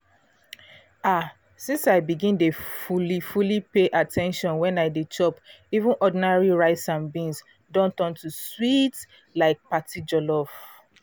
ah! since i begin dey fully fully pay at ten tion when i dey chop even ordinary rice and beans don turn to sweet like party jollof.